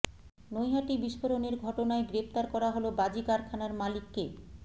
নৈহাটি বিস্ফোরণের ঘটনায় গ্রেফতার করা হল বাজি কারখানার মালিককে